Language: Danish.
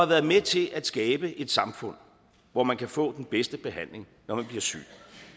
været med til at skabe et samfund hvor man kan få den bedste behandling når man bliver syg